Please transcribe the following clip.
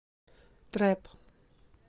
трэп